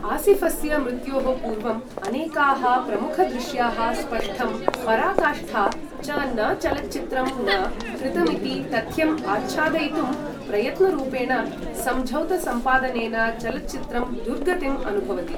आसिफस्य मृत्योः पूर्वं अनेकाः प्रमुखदृश्याः स्पष्टं पराकाष्ठा च न चलच्चित्रं न कृतम् इति तथ्यं आच्छादयितुं प्रयत्नरूपेण सम्झौतसम्पादनेन चलच्चित्रं दुर्गतिम् अनुभवति